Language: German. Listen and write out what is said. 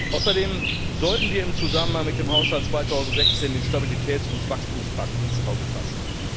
Außerdem sollten wir im Zusammenhang mit dem Haushalt 2016 den Stabilitäts und Wachstumspakt ins Auge fassen.